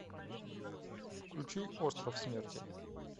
включи остров смерти